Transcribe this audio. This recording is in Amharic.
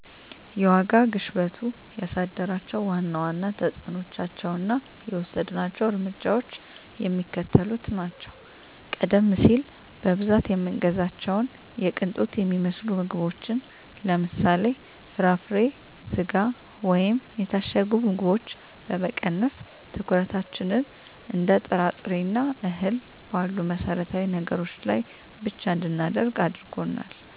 የዋጋ ግሽበቱ ያሳደራቸው ዋና ዋና ተፅዕኖዎችና የወሰድናቸው እርምጃዎች የሚከተሉት ናቸው፦ ቀደም ሲል በብዛት የምንገዛቸውን የቅንጦት የሚመስሉ ምግቦችን (ለምሳሌ፦ ፍራፍሬ፣ ስጋ ወይም የታሸጉ ምግቦች) በመቀነስ፣ ትኩረታችንን እንደ ጥራጥሬና እህል ባሉ መሠረታዊ ነገሮች ላይ ብቻ እንድናደርግ አድርጎናል።